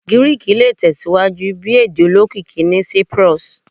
Giriki le tẹsiwaju bi ede olokiki ni Cyprus